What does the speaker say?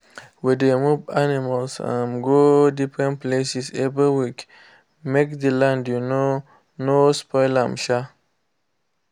we dey move animals um go different places every week make the land um no spoil. um